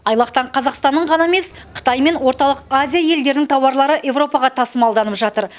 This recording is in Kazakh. айлақтан қазақстанның ғана емес қытай мен орталық азия елдерінің тауарлары еуропаға тасымалданып жатыр